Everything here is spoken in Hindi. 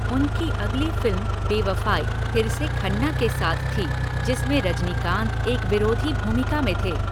उनकी अगली फ़िल्म बेवफ़ाई फिर से खन्ना के साथ थी, जिसमें रजनीकांत एक विरोधी भूमिका में थे।